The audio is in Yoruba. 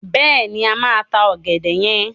Bẹ́ẹ̀ni, a máa ta ọ̀gẹ̀dẹ̀ yen.